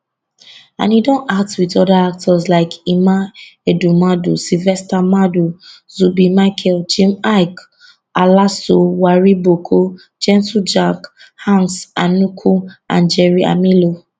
and e don act wit oda actors like emma ehumadu sylvester madu zubby michael jim iyke alaso wariboko gentle jack hanks anuku and jerry amilo